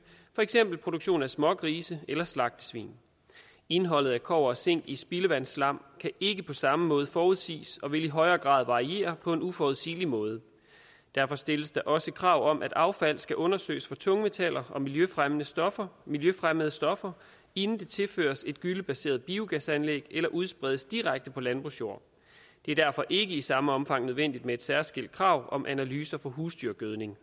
for eksempel produktion af smågrise eller slagtesvin indholdet af kobber og zink i spildevandsslam kan ikke på samme måde forudsiges og vil i højere grad variere på en uforudsigelig måde derfor stilles der også krav om at affald skal undersøges for tungmetaller og miljøfremmede stoffer miljøfremmede stoffer inden det tilføres et gyllebaseret biogasanlæg eller udspredes direkte på landbrugsjord det er derfor ikke i samme omfang nødvendigt med et særskilt krav om analyser for husdyrgødning